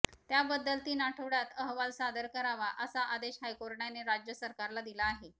त्याबद्दल तीन आठवड्यात अहवाल सादर करावा असा आदेश हायकोर्टाने राज्य सरकारला दिला आहे